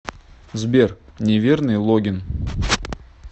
сбер неверный логин